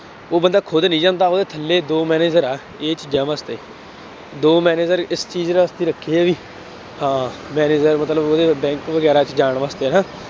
ਉਹ ਬੰਦਾ ਖੁਦ ਨਹੀਂ ਜਾਂਦਾ, ਉਹਦੇ ਥੱਲੇ ਦੋ manager ਹੈ, ਇਹ ਚੀਜ਼ਾਂ ਵਾਸਤੇ, ਦੋ manager ਇਸ ਚੀਜ਼ ਵਾਸਤੇ ਰੱਖੇ ਹੈ ਬਈ ਹਾਂ manager ਮਤਲਬ ਉਹਦੇ ਬੈਂਕ ਵਗੈਰਾ ਚ ਜਾਣ ਵਾਸਤੇ ਹੈਂ